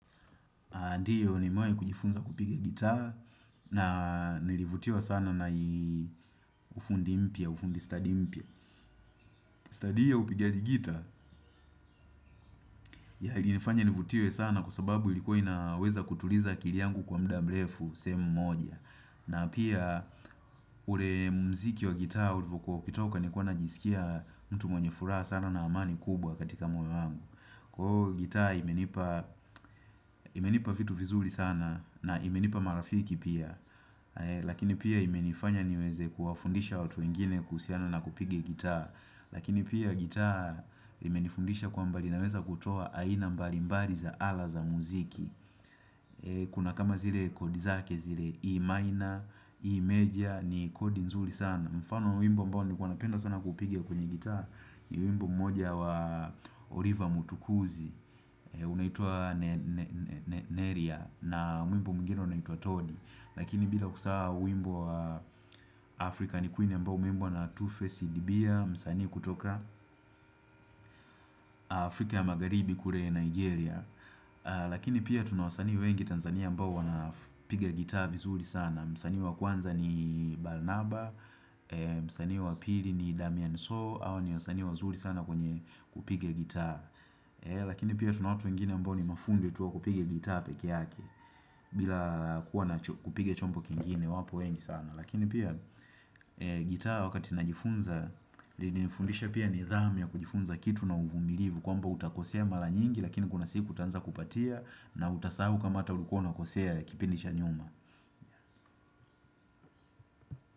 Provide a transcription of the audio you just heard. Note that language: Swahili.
Ndiyo nimewahi kujifunza kupiga gita na nilivutiwa sana na ufundi mpya, ufundi stadi mpya. Stadi hii ya upigaji gita yalinifanya nivutiwe sana kwa sababu ilikuwa inaweza kutuliza kili yangu kwa muda mrefu sehemu moja. Na pia ule mziki wa gita ulivokuwa ukitoka nilikuwa najisikia mtu mwenye furaha sana na amani kubwa katika moyo wangu. Gita imenipa vitu vizuri sana na imenipa marafiki pia. Lakini pia imenifanya niweze kuwafundisha watu wengine kuhusiana na kupiga gita Lakini pia gita imenifundisha kwamba linaweza kutoa aina mbali mbali za ala za muziki Kuna kama zile kodi zake zile iimaina, iimeja ni kodi nzuri sana mfano wimbo ambao ni kwanapenda sana kupiga kwenye gita ni wimbo mmoja wa Oliver Mutukuzi unaitwa Neria na wimbo mwingine unaitua Todi Lakini bila kusahau wimbo wa Afrika ni Queen ambao umeimbwa na Two-Face dibia Msani kutoka Afrika Magharibi kule Nigeria Lakini pia tuna wasanii wengi Tanzania ambao wanapiga gitaa vizuri sana Msani wa kwanza ni Balnaba, Msani wa Pili ni Damien So hawa ni wasani wazuri sana kwenye kupiga gitaa Lakini pia tunabwatu wengine ambao ni mafundi tu wa kupiga gitaa peke yake bila kuwa na kupiga chombo kingine wapo wengi sana Lakini pia gitaa wakati najifunza lilinifundisha pia nidhamu ya kujifunza kitu na uvumilivu kwamba utakosea mara nyingi lakini kuna siku utaanza kupatia na utasahu kama hata ulikua unakosea kipindi cha nyuma.